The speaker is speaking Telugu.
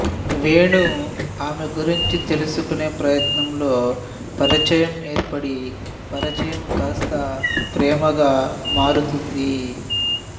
వేణు ఆమె గురించి తెలుసుకునే ప్రయత్నంలో పరిచయం ఏర్పడి పరిచయం కాస్తా ప్రేమగా మారుతుంది